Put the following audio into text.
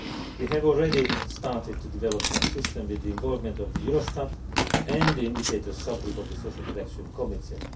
We have already started to develop such a system with the involvement of Eurostat and the indicators subgroup of the Social Protection Committee.